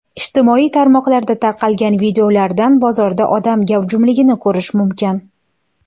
Ijtimoiy tarmoqlarda tarqalgan videolardan bozorda odam gavjumligini ko‘rish mumkin.